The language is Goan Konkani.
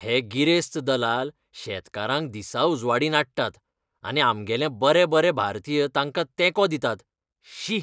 हे गिरेस्त दलाल शेतकारांक दिसाउजवाडीं नाडटात. आनी आमगेले बरे बरे भारतीय तांकां तेंको दितात. शी!